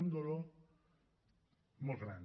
un dolor molt gran